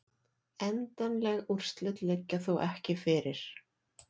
Endanleg úrslit liggja þó ekki fyrir